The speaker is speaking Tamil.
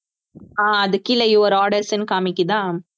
ஆஹ் அதுக்கு கீழே your orders ன்னு காமிக்குதா